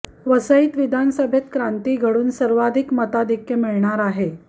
वाईत विधानसभेत क्रांती घडून सर्वाधिक मताधिक्य मिळणार आहे